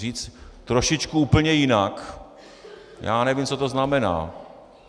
Říct "trošičku úplně jinak" - já nevím, co to znamená.